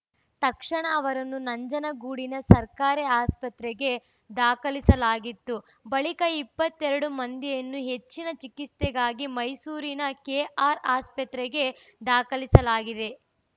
ತಕ್ಷಣ ಅವರನ್ನು ನಂಜನಗೂಡಿನ ಸರ್ಕಾರಿ ಆಸ್ಪತ್ರೆಗೆ ದಾಖಲಿಸಲಾಗಿತ್ತು ಬಳಿಕ ಇಪ್ಪತ್ತೆರಡು ಮಂದಿಯನ್ನು ಹೆಚ್ಚಿನ ಚಿಕಿತ್ಸೆಗಾಗಿ ಮೈಸೂರಿನ ಕೆಆರ್‌ಆಸ್ಪತ್ರೆಗೆ ದಾಖಲಿಸಲಾಗಿದೆ